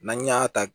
N'an y'a ta